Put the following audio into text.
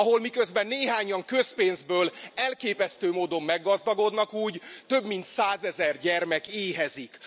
Ahol, miközben néhányan közpénzből elképesztő módon meggazdagodnak, több mint százezer gyermek éhezik.